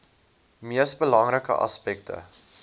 mees belangrike aspekte